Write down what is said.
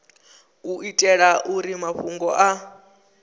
u itela uri mafhungo a